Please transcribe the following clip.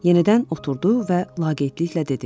Yenidən oturdu və laqeydliklə dedi.